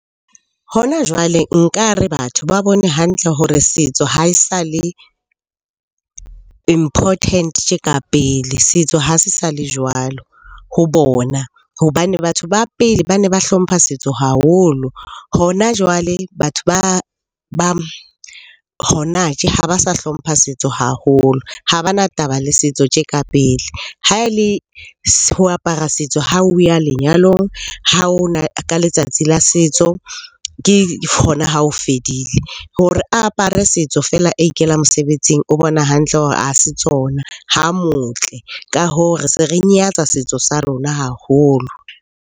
Hona jwale nkare batho ba bone hantle hore setso ha e sa le important tje ka pele. Setso ha se sa le jwalo ho bona hobane batho ba pele ba ne ba hlompha setso haholo. Hona jwale batho ba hona tje ha ba sa hlompha setso haholo, ha ba na taba le setso tje ka pele. Ha e le ho apara setso ha o ya lenyalong, ka letsatsi la setso ke hona ha o fedile. Hore a apare setso feela a ikela mosebetsing o bona hantle hore ha se tsona, ha motle. Ka hoo, re se re nyatsa setso sa rona haholo.